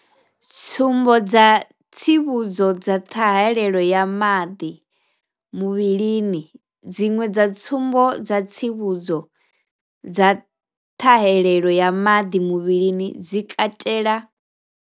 Tsumbo dza tsivhudzo dza ṱhahelelo ya maḓi muvhilini, Dziṅwe dza tsumbo dza tsivhudzo dza ṱhahelelo ya maḓi muvhilini dzi katela.